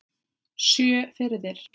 Sjö firðir!